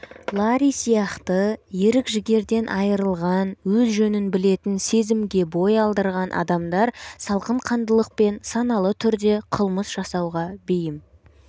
ларри сияқты ерік-жігерден айырылған өз жөнін білетін сезімге бой алдырған адамдар салқынқандылықпен саналы түрде қылмыс жасауға бейім